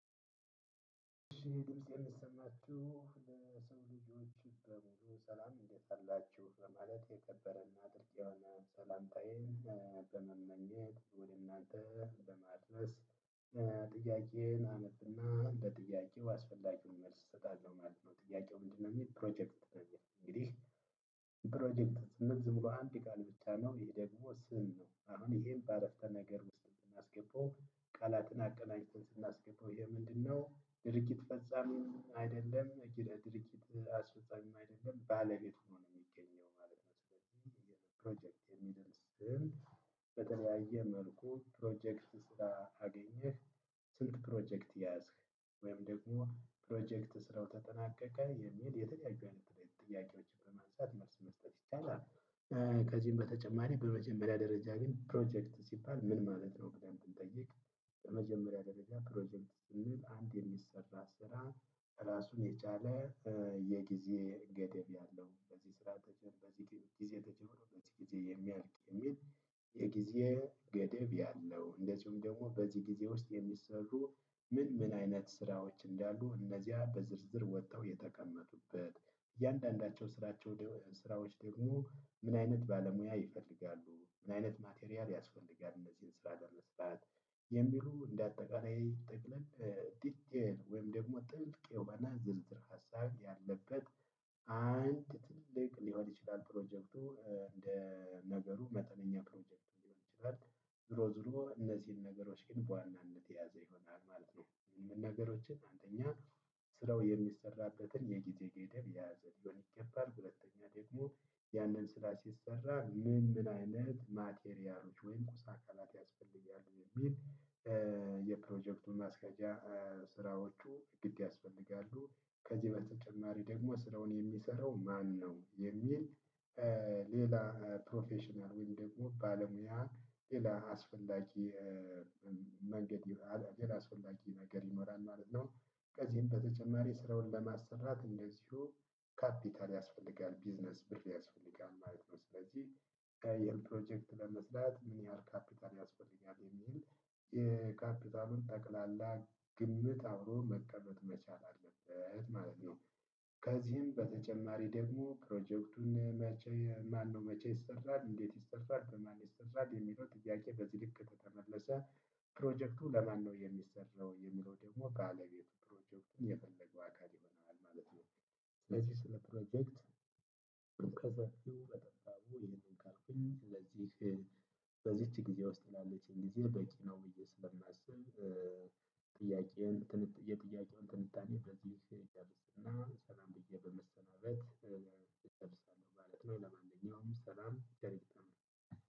ድምፄ እሚሰማችሁ የሰው ልጆች በሙሉ ሰላም እንዴትአላችሁ በማለት የከበረና ጥልቅ የሆነ ሰላምታዬ በመመኜት ወደ እናንተ በማድነስ ጥያቄዬን አነብና ለጥያቄው አስፈላጊውን መልስ እሰጣቸዋለሁ ማለት ነው። ጥያቄው ምንድነው? እሚል ፕሮጀክት ፕሮጀክት እንግዲህ ፕሮጀክት ስንል ዝም ብሎ አንድ ቃል ብቻ ነው ይሄ ደግሞ ስም ነው። አሁን ይሄን በአረፍተ ነገር ውስጥ ስናስገባው ቃላትን አቀናጂተን ስናስገባው ይሄ ምንድን ነው? ድርጊት ፈፃሚም አይደለም ድርጊት አስፈፃሚም አይደለም ባለቤት ሁኖ ነው እሚገኝ። በተለያየ መልኩ ፕሮጀክት ስላገኘህ። ስንት ፕሮጀክት ያዝክ? ወይም ደግሞ ፕሮጀክት ስራው ተጠናቀቀ የሚል የተለያዩ አይነት ጥያቄዎችን በማንሳት መልስ መስጠት ይቻላል። ከዚህም በተጨማሪ በመጀመሪያ ደረጃ ግን ፕሮጀክት ሲባል ምን ማለት ነው ብለን ብንጠይቅ? በመጀመሪያ ደረጃ ፕሮጀክት ስንል አንድ የሚሰራ ስራ ራሱን የቻለ የጊዜ ገደብ ያለው በዚህ ስራ ተጀመሮ በዚህ ጊዜ ተጀመሮ በዚህ ጊዜ የሚያልቅ የሚል። የጊዜ ገደብ ያለው እንደዚሁም ደግሞ በዚህ ጊዜ ውስጥ የሚሰሩ ምን ምን አይነት ስራዎች እንዳሉ እነዚያ በዝርዝር ወጥተው የተቀመጡበት እያንዳንዳቸው ስራቸው ስራዎች ደግሞ ምን አይነት ባለሙያ ይፈልጋሉ ምን አይነት ማቴሪያል ያስፈልጋል እነዚህን ስራ ለመስራት። የሚሉ እንደ አጠቃላይ ጠቅለል ወይም ደግሞ ጥልቅ የውበና ዝርዝር ሀሳብ ያለበት አንድ ትልቅ ሊሆን ይችላል። ፕሮጀክቱ እንደ ነገሩ መጠነኛ ፕሮጀክት ሊሆን ይችላል። ዝሮ ዝሮ እነዚህን ነገሮች ግን በዋናነት ያዘ ይሆናል ማለት ነው። የምንም ነገሮችን አንደኛ ስለው የሚሰራበትን የጊዜ ገደብ የያዘ ሊሆን ይገባል። ሁለተኛ ደግሞ ያንን ስራ ሲሰራ ምን ምን አይነት ማቴሪያሎች ወይም ቁስ አካላት ያስፈልጋሉ የሚል። የፕሮጀክቱ ማስካጃ ስራዎቹ ግድ ያስፈልጋሉ ከዚህ በተጨማሪ ደግሞ ስራውን የሚሰራው ማን ነው የሚል? ሌላ ፕሮፌሽናል ወይም ደግሞ ባለሙያ ሌላ አስፈላጊ መንገድ የራስ አስፈላጊ ነገር ይኖራል ማለት ነው። ከዚህም በተጨማሪ ስራውን ለማሰራት እንደዚሁ ካፒታል ያስፈልጋል ቢዝነስ ብር ያስፈልጋል ማለት ነው። ስለዚህ ከ ይሄን ፕሮጀክት ለመስራት ምን ያህል ካፒታል ያስፈልጋል የሚል የካፒታልን ጠቅላላ ግምት አብሮ መቀመጥ መቻል አለበት ማለት ነው። ከዚህ በተጨማሪም ደግሞ ፕሮጀክቱን መቸይሰራል እንዴት ይሰራል? የሚለው ጥያቄ በዚህ ልክ ከተመለሰ ፕሮጀክቱ ለማን ነው የሚሰራው የሚለው ደግሞ ባለቤቱ ፕሮጀክቱን የፈለገው አካል ይሆናል ማለት ነው። ስለዚህ ስለ ፕሮጀክት ከሰፊው በጠባብ ይሄንን ካልኩኝ ስለዚህ በዚች ጊዜ ውስጥ ላለችኝ ጊዜ በቂ ነው ብዬ ስለማስብ። ጥያቄውን የጥያቄውን ትንታኔ በዚህ ይዳረስና ሰላም ብዬ በመሰናበት እጨርሳለሁ ማለት ነው። ለማንኛውም ሰላም